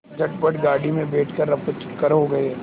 झटपट गाड़ी में बैठ कर ऱफूचक्कर हो गए